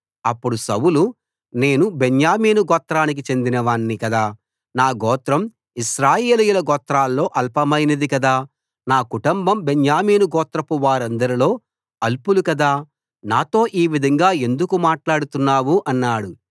అప్పుడు సౌలు నేను బెన్యామీను గోత్రానికి చెందినవాణ్ణి కదా నా గోత్రం ఇశ్రాయేలీయుల గోత్రాల్లో అల్పమైనది కదా నా కుటుంబం బెన్యామీను గోత్రపు వారందరిలో అల్పులు కదా నాతో ఈ విధంగా ఎందుకు మాట్లాడుతున్నావు అన్నాడు